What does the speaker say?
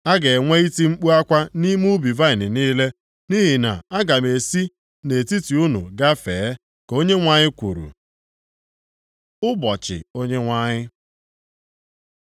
A ga-enwe iti mkpu akwa nʼime ubi vaịnị niile, nʼihi na aga m esi nʼetiti unu gafee,” ka Onyenwe anyị kwuru. Ụbọchị Onyenwe anyị